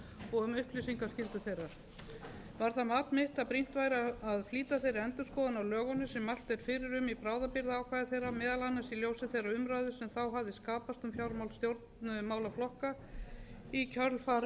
og um upplýsingaskyldu þeirra var það mat mitt að brýnt væri að flýta þeirri endurskoðun á lögunum sem mælt er fyrir um í bráðabirgðaákvæði þeirra meðal annars í ljósi þeirrar umræðu sem hafði skapast um fjármál stjórnmálaflokkanna í kjölfar